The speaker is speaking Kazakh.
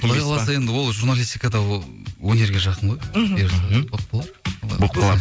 құдай қаласа енді ол журналистика да ол өнерге жақын ғой мхм бұйырғаны болып қалар болып қалар